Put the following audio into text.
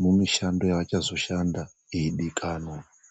muushando yaachazoshanda yeidikanwa.